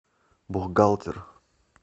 бухгалтер